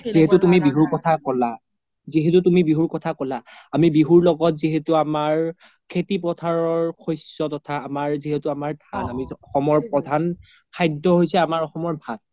যিহেতো তুমি বিহুৰ কথা ক্'লা, যিহেতো তুমি বিহুৰ কথা ক্'লা আমি বিহুৰ লগত যিহেতো আমাৰ খেতি পোথাৰৰ শস্য তথা আমাৰ যিহেতো আমাৰ ধান অসমৰ প্ৰধান খাদ্য হৈছে অসমৰ ভাত